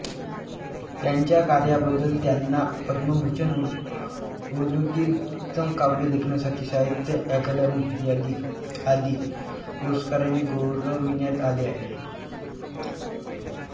त्यांच्या कार्याबद्दल त्यांना पद्मभूषण उर्दूतील उत्तम काव्य लेखनासाठी साहित्य अकादमी आदी पुरस्कारांनी गौरविण्यात आले आहे